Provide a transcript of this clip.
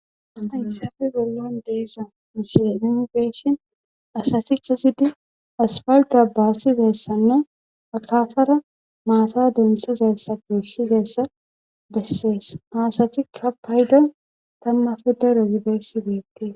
Haysafe bollan deeza misie inifeeshin asati kesidi asfalda baasizayssanne akafara maata demsizayssa geessizayssa bessees haasatikka paydo tamma fuda rogideesi beettie.